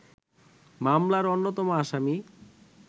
মামলার অন্যতম আসামি